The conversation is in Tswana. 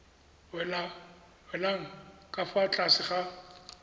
welang ka fa tlase ga